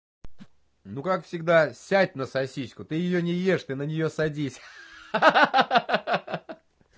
ну как всегда сядь на сосиску ты её не ешь ты на неё садись ха-ха